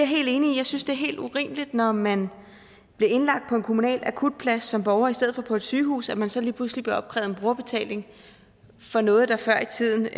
helt enig i jeg synes det er helt urimeligt når man bliver indlagt på en kommunal akutplads som borger i stedet for på et sygehus at man så lige pludselig bliver opkrævet en brugerbetaling for noget der før i tiden